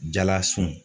Jalasun